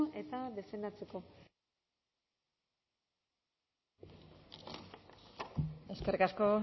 eta defendatzeko eskerrik asko